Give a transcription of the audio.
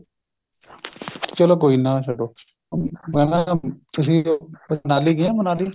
ਚਲੋ ਕੋਈ ਨਾ ਛੱਡੋ ਮੈਂ ਨਾ ਤੁਸੀਂ ਮਨਾਲੀ ਗਏ ਹੋ ਮਨਾਲੀ